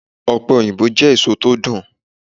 Ọpẹ-oyinbo jẹ́ èso tó dùn.